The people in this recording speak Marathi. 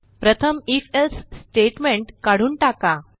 प्रथम if एल्से स्टेटमेंट काढून टाका